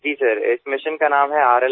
जी sir इस mission का नाम है R